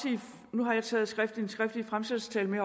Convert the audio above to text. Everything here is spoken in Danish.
nu har jeg taget den skriftlige fremsættelsestale med